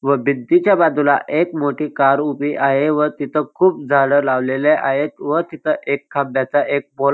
व भिंतीच्या बाजूला एक मोठी कार उभी आहे व तिथं खूप झाडं लावलेले आहेत व तिथं एक खांब्याचा एक पोल --